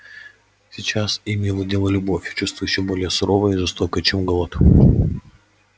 сейчас ими владела любовь чувство ещё более суровое и жестокое чем голод